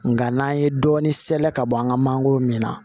Nga n'an ye dɔɔnin sɛnɛ ka bɔ an ka mangoro min na